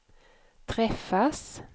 träffas